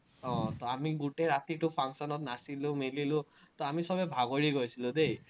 আহ আমি গোটেই ৰাতিতো function ত নাচিলো-মেলিলো, তো আমি চবেই ভাগৰি গৈছিলো দেই।